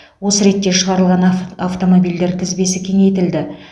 осы ретте шағырылған ав автомобильдер тізбесі кеңейтілді